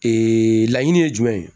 Ee laɲini ye jumɛn ye